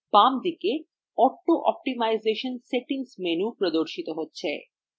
বাম দিকে auto optimisation settings menu প্রদর্শিত হচ্ছে